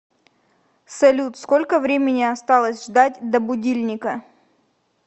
салют сколько времени осталось ждать до будильника